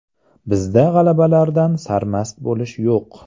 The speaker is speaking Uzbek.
Bizda g‘alabalardan sarmast bo‘lish yo‘q.